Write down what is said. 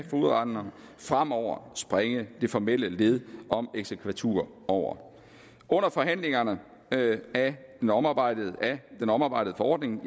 fogedretten fremover springe det formelle led om eksekvatur over under forhandlingerne af den omarbejdede den omarbejdede forordning